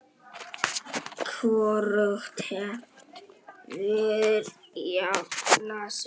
Hvorugt hefur jafnað sig.